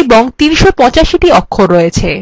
এবং ৩৮৫the অক্ষর আছে